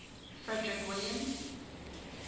frederick william